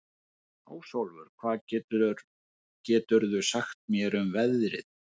Ásólfur, hvað geturðu sagt mér um veðrið?